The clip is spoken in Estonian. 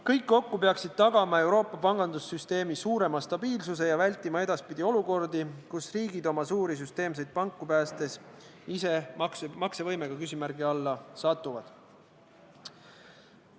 Kõik kokku peaksid tagama Euroopa pangandussüsteemi suurema stabiilsuse ja vältima edaspidi olukordi, kus riigid oma suuri süsteemseid panku päästes ise maksevõimega küsimärgi alla satuvad.